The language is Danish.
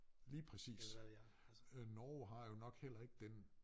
Lige præcis øh Norge har jo nok heller ikke den